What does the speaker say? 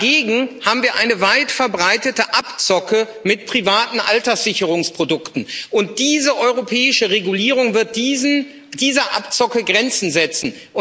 Dagegen haben wir eine weit verbreitete Abzocke mit privaten Alterssicherungsprodukten, und diese europäische Verordnung wird dieser Abzocke Grenzen setzen.